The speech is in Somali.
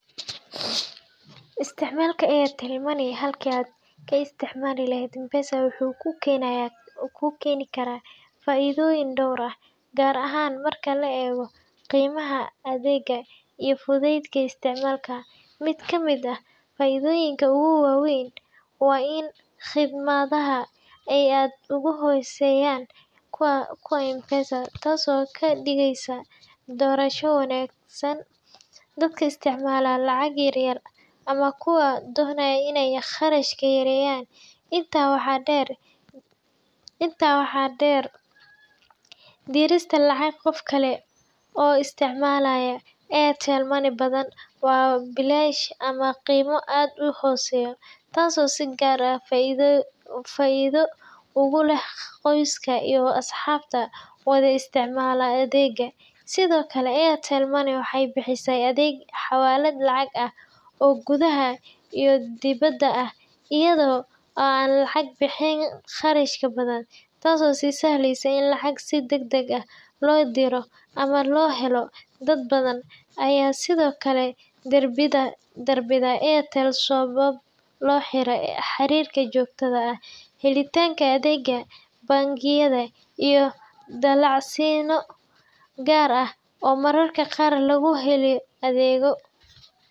Isticmaalka Airtel Money halkii aad ka isticmaali lahayd M-Pesa wuxuu kuu keeni karaa faa’iidooyin dhowr ah, gaar ahaan marka la eego qiimaha adeega iyo fudaydka isticmaalka. Mid ka mid ah faa’iidooyinka ugu waaweyn waa in khidmadaha ay aad uga hooseeyaan kuwa M-Pesa, taasoo ka dhigaysa doorasho wanaagsan dadka isticmaala lacag yar-yar ama kuwa doonaya inay kharashka yareeyaan. Intaa waxaa dheer, dirista lacag qof kale oo isticmaalaya Airtel Money badanaa waa bilaash ama qiime aad u hooseeya, taasoo si gaar ah faa’iido ugu leh qoysaska iyo asxaabta wada isticmaala adeegga. Sidoo kale, Airtel Money waxay bixisaa adeegyo xawaalad lacag ah oo gudaha iyo dibadda ah, iyada oo aan laga bixin kharashyo badan, taasoo sahlaysa in lacag si degdeg ah loo diro ama loo helo. Dad badan ayaa sidoo kale doorbida Airtel sababo la xiriira xariirka joogtada ah, helitaanka adeegyo bangiyeed, iyo dalacsiinno (promotions) gaar ah oo mararka qaar lagu helo adeeggan.